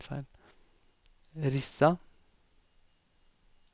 Rissa